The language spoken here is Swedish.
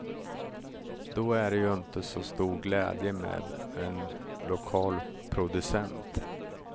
Då är det ju inte så stor glädje med en lokal producent.